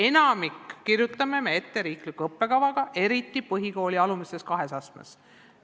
Enamiku õppesisu kirjutame ette riikliku õppekavaga, eriti põhikooli alumises kahes astmes.